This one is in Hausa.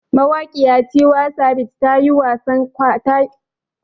Mawaƙiya Tiwa savage ta yi wasa kwanan nan a garin Ingila wajen nadin sabon sarki.